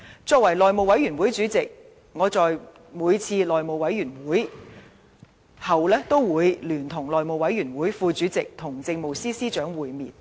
身為內務委員會主席，我在每次內務委員會會議後都會聯同內務委員會副主席與政務司司長會面。